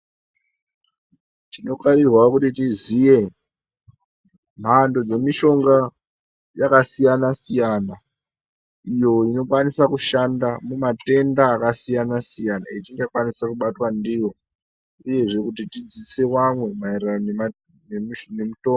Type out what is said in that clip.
Tinokarirwa kuti tiziye mhando yemushonga yakasiyana -siyana iyo inokwanisa kushanda mumatenda akasiyana -siyanauye etingakwanisa kubatwa ndiwo uye kudzidzisa vamwe maererano nemutombo.